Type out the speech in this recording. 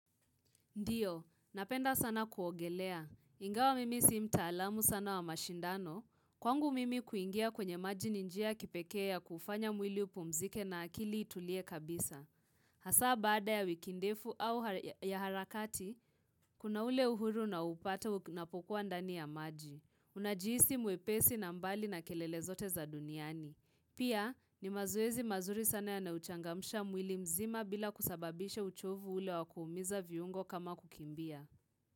Ndio, napenda sana kuogelea. Ingawa mimi si mtaalamu sana wa mashindano, Kwangu mimi kuingia kwenye maji ninjia kipekee ya kuufanya mwili upumzike na akili itulie kabisa. Hasa baada ya wiki ndefu au ya harakati, kuna ule uhuru naoupata unapokuwa ndani ya maji. Unajiisi mwepesi na mbali na kelele zote za duniani. Pia, ni mazoezi mazuri sana yanayouchangamsha mwili mzima bila kusababisha uchovu ule wakuumiza viungo kama kukimbia.